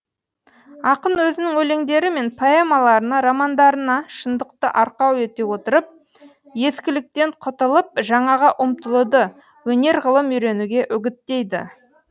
ақын өзінің өлеңдері мен поэмаларына романдарына шындықты арқау ете отырып ескіліктен құтылып жаңаға ұмтылуды өнер ғылым үйренуге үгіттейді